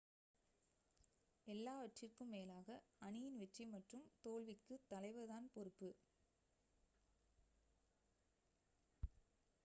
எல்லாவற்றிற்கும் மேலாக அணியின் வெற்றி மற்றும் தோல்விக்கு தலைவர் தான் பொறுப்பு